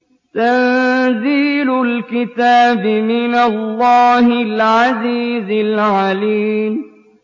تَنزِيلُ الْكِتَابِ مِنَ اللَّهِ الْعَزِيزِ الْعَلِيمِ